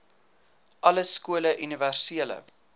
alle skole universele